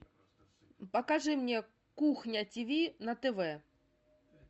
покажи мне кухня тв на тв